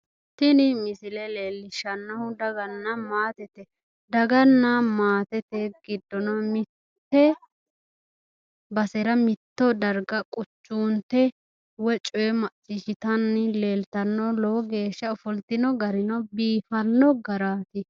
tini misile leellishshannonkehu daganna maatete daganna maatete giddono mitte basera mitto darga quchunte woyi coye macciishshitanni leeltanno lowo geeshshano ofoltino gari biifanno garaati.